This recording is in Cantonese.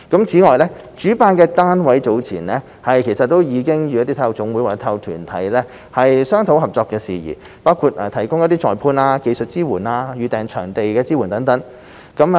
此外，主辦單位早前已與體育總會或體育團體商討合作事宜，包括提供裁判、技術支援及預訂場地支援等。